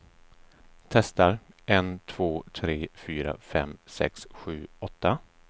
Testar en två tre fyra fem sex sju åtta.